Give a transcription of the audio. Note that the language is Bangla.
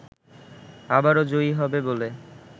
আবারো জয়ী হবে বলে